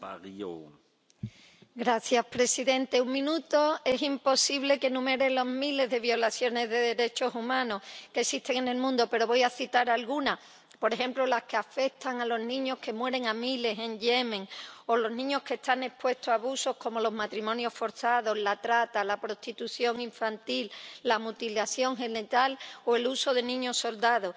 Señor presidente, en un minuto es imposible que enumere los miles de violaciones de derechos humanos que existen en el mundo, pero voy a citar algunas por ejemplo, las que afectan a los niños que mueren a miles en Yemen o los niños que están expuestos a abusos como los matrimonios forzados, la trata, la prostitución infantil, la mutilación genital o el uso de niños soldados.